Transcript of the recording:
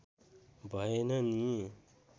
भएन नि